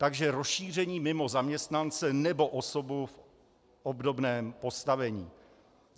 Takže rozšíření mimo zaměstnance nebo osobu v obdobném postavení.